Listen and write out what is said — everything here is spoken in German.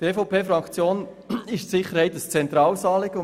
Der EVP-Fraktion ist Sicherheit ein zentrales Anliegen.